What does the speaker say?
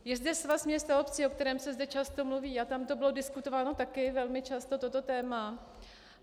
Je zde Svaz měst a obcí, o kterém se zde často mluví, a tam to bylo diskutováno také velmi často, toto téma.